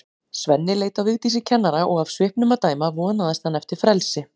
Svenni leit á Vigdísi kennara og af svipnum að dæma vonaðist hann eftir frelsi.